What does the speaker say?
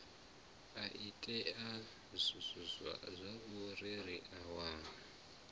a itea zwauri ri wane